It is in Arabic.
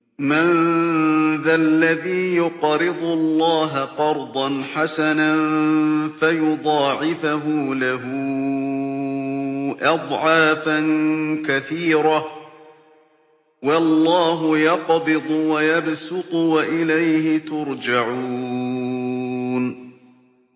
مَّن ذَا الَّذِي يُقْرِضُ اللَّهَ قَرْضًا حَسَنًا فَيُضَاعِفَهُ لَهُ أَضْعَافًا كَثِيرَةً ۚ وَاللَّهُ يَقْبِضُ وَيَبْسُطُ وَإِلَيْهِ تُرْجَعُونَ